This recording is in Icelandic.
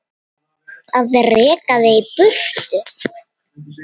Að reka þig í burtu!